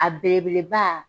A belebeleba